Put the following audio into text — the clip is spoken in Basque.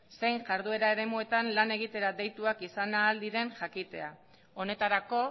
zein iharduera eremuetan lan egitera deituak izan ahal diren jakitea honetarako